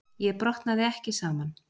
Ég brotnaði ekki saman.